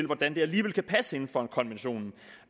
hvordan det alligevel kan passe inden for en konvention